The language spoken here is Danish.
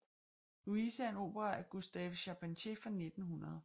Louise er en opera af Gustave Charpentier fra 1900